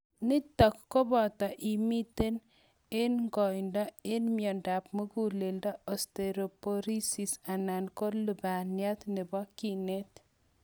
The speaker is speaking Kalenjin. niton koboto angot imiten en ngoindo en miandap muguleldo, osteoporosis anan ko lubaniat nebo kinet